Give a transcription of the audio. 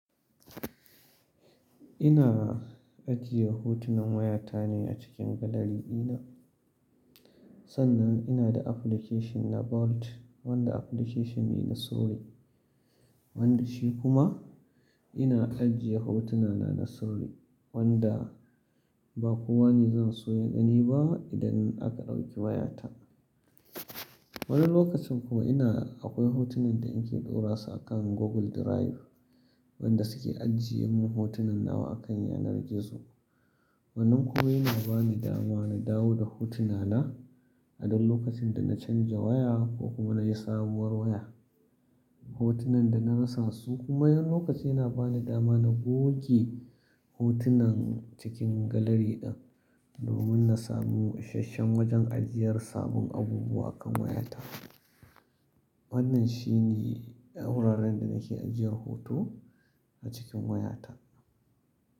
Ina ajiye hotunan wayata ne a cikin gallery ɗina. Sannan ina da application na Vault, wanda application ne na sirri. Wanda shi kuma ina ajiye hotunana na sirri wanda ba kowane zan so ya gani ba idan aka ɗauki wayata. Wani lokacin kuma ina akwai hotunan da in ke ɗora su a kan Google Drive, wanda suke ajiye min hotunan nawa a kan yanar gizo. Wannan kuma yana bani dama na dawo da hotuna na idan lokacin da na canza waya ko kuma na yi sabuwar waya. Hotunan da na rasa su kuma wani lokacin yana bani dama na goge hotunan cikin gallery ɗin domin na samu ishashshen wajen ajiyar sabbun abubuwa akan wayata. Wannan shi ne guraren da nake ajiyar hoto a cikin wayata.